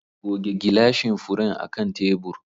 Goge gilashin furen akan tebur.